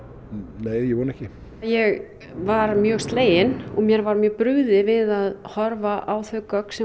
nei ég vona ekki ég var mjög slegin og mér var mjög brugðið við að horfa á þau gögn sem